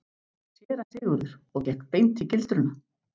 SÉRA SIGURÐUR: Og gekk beint í gildruna?